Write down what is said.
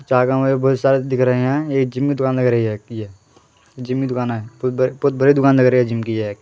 बहुत सारे दिख रहे हैं ये जिम की दुकान लग रही है एक ये जिम की दुकान है बहुत बड़ी बहुत बड़ी दुकान लग रही है जिम की ये।